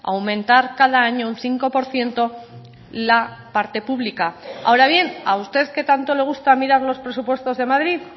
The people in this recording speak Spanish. aumentar cada año un cinco por ciento la parte pública ahora bien a usted que tanto le gusta mirar los presupuestos de madrid